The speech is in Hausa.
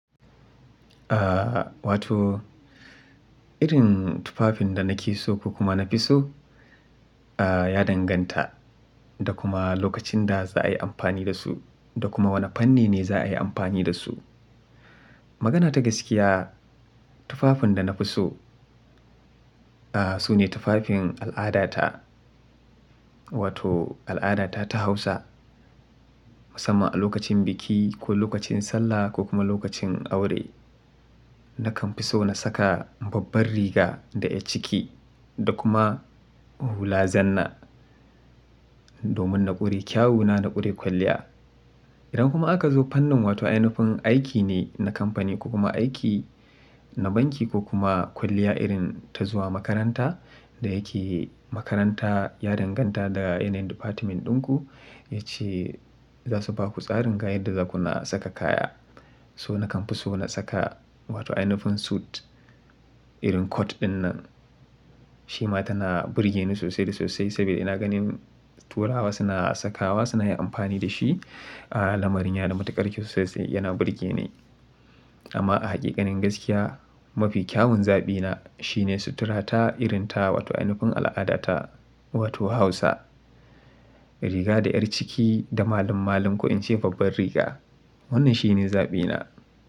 Ah wato irin tufafin da nake so ko kuma na fi so ah ya danganta da kuma lokacin da za a yi amfani da su da kuma wanne fanni ne za a yi amfani da su. Magana ta gaskiya, tufafin da na fi so ah sune tufafin al'adata. Wato al'adata ta Hausa musamman a lokacin biki ko lokacin sallah ko kuma lokacin aure. Na kan fi so na saka babbar riga da ƴar ciki da kuma hula zanna domin na ƙure kyawuna na ƙure kwalliya. Idan kuma aka zo fannin wato ai nufin aiki ne na kamfani ko kuma aiki na banki ko kuma kwalliya irin ta zuwa makaranta da yake makaranta ya danganta daga yanayin department ɗinku yacce za su ba ku tsarin ga yadda zakuna saka kaya. So na kan fi so na saka wato ai nufin suit irin coat ɗin nan. Shi ma tana burge ni sosai da sosai saboda ina ganin turawa suna sakawa suna yin amfani da shi a lamarin yana da matuƙar kyau sosai yana burgeni. Amma a hakikanin gaskiya mafi kyawun zaɓina shine sutura ta irin ta wato ai nufin al'adata wato Hausa, riga da ƴar ciki da malamun malin ko in ce babbar riga. Wannan shine zaɓina.